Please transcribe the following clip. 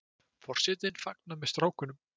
Forsetinn fagnar með strákunum